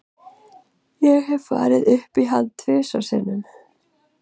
Ég hef farið upp í hann tvisvar sinnum.